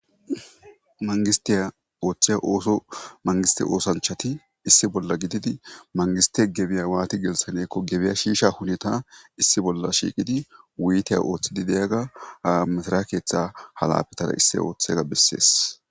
mangistiya oththe omangiste oosanchati issi bolla gididi mangiste gebiya waati gelsanekko gebiya shiisha hunita issi bolla shiiqidi wuiteya ooththidi deyaga ha mithara keeththa halafetara issi ooththega bessees